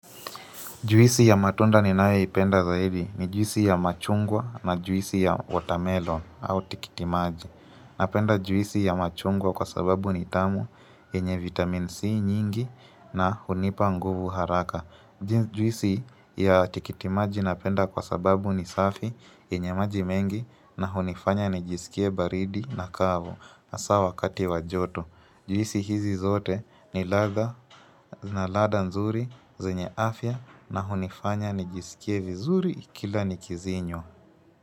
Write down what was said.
Juisi ya matunda ninayoipenda zaidi ni juisi ya machungwa na juisi ya watermelon au tikitimaji. Napenda juisi ya machungwa kwa sababu ni tamu yenye vitamin C nyingi na hunipa nguvu haraka. Juisi ya tikitimaji napenda kwa sababu ni safi yenye maji mengi na hunifanya nijisikie baridi na kavu hasa wakati wa joto. Juisi hizi zote ni ladha nzuri, zenye afya na hunifanya nijisikie vizuri kila nikizinywa.